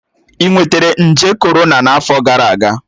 Ị nwetara nje korona n'afọ gara aga?